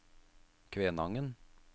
Kvænangen